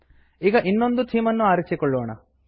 ಈಗ ಇನ್ನೊಂದು ಥೀಮನ್ನು ಆರಿಸಿಕೊಳ್ಳೋಣ